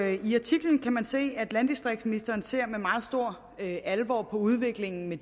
i artiklen kan man se at landdistriktsministeren ser med meget stor alvor på udviklingen med